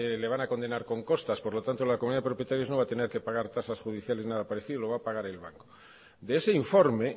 le van a condenar con costas por lo tanto la comunidad de propietarios no va a tener que pagar tasas judiciales ni nada parecido lo va a pagar el banco de ese informe